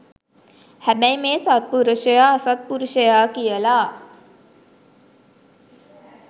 හැබැයි මේ සත්පුරුෂයා අසත්පුරුෂයා කියලා